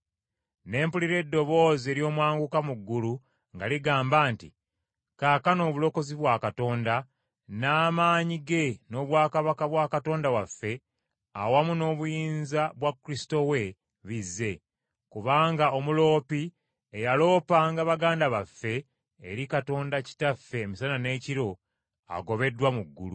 Ne mpulira eddoboozi ery’omwanguka mu ggulu nga ligamba nti, “Kaakano obulokozi bwa Katonda, n’amaanyi ge n’obwakabaka bwa Katonda waffe awamu n’obuyinza bwa Kristo we bizze. Kubanga omuloopi eyaloopanga baganda baffe, eri Katonda waffe emisana n’ekiro, agobeddwa mu ggulu.